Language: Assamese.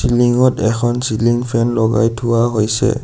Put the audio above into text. লিংত এখন চিলিং ফেন লগাই থোৱা হৈছে।